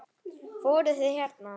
Fóruð þið hérna?